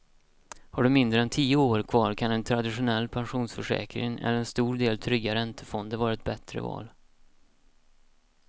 Har du mindre än tio år kvar kan en traditionell pensionsförsäkring eller en stor del trygga räntefonder vara ett bättre val.